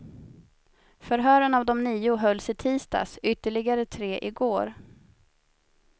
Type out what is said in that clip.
Förhören av de nio hölls i tisdags, ytterligare tre i går.